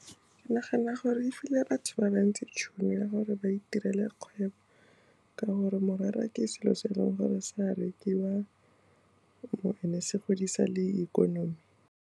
Ke nagana gore e file batho ba bantsi tšhono ya gore ba itirele kgwebo, ka gore morara ke selo se e leng gore se a rekiwa le gone se godisa le ikonomi.